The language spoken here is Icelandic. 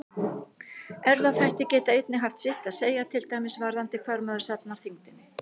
Erfðaþættir geta einnig haft sitt að segja, til dæmis varðandi hvar maður safnar þyngdinni.